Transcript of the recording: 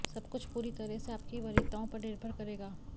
सब कुछ पूरी तरह से आपकी वरीयताओं पर निर्भर करेगा